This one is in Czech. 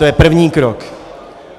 To je první krok.